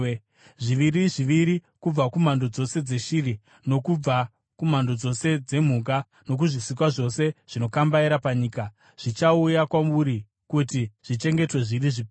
Zviviri zviviri kubva kumhando dzose dzeshiri, nokubva kumhando dzose dzemhuka nokuzvisikwa zvose zvinokambaira panyika, zvichauya kwauri kuti zvichengetwe zviri zvipenyu.